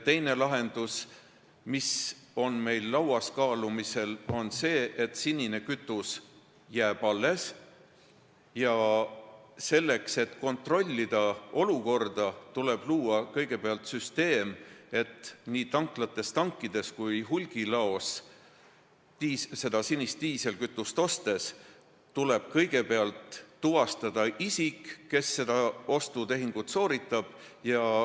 Teine lahendus, mis on meil kaalumisel, on see, et sinine kütus jääb alles ja selleks, et olukorda kontrollida, loome niisuguse süsteemi, et nii tanklates kui hulgilaos tuleb kõigepealt tuvastada isik, kes seda sinist diislikütust ostab.